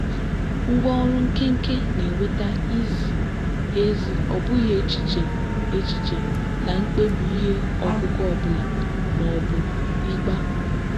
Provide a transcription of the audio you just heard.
ngwá ọrụ nkenke na-eweta izi ezi ọ bụghị echiche echiche na mkpebi ihe ọkụkụ ọ bụla ma ọ bụ ịgba.